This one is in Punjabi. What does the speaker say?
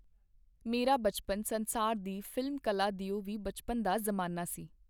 ਮੇਰਾ ਬਚਪਨ ਸੰਸਾਰ ਦੀ ਫ਼ਿਲਮ-ਕਲਾ ਦਿਓ ਵੀ ਬਚਪਨ ਦਾ ਜ਼ਮਾਨਾ ਸੀ.